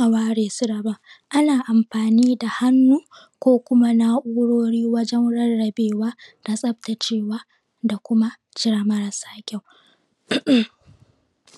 a ware su daban ana amfani da hannu ko kuma na’urori wajen rarrabewa da tsaftacewa da kuma cire marasa kyau[um]